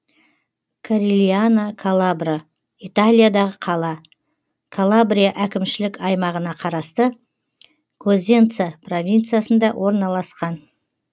корильяно калабро италиядағы қала калабрия әкімшілік аймағына қарасты козенца провинциясында орналасқан